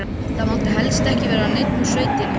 Það mátti helst ekki vera neinn úr sveitinni.